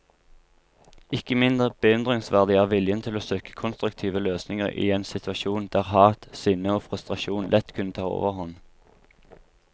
Ikke mindre beundringsverdig er viljen til å søke konstruktive løsninger i en situasjon der hat, sinne og frustrasjon lett kunne ta overhånd.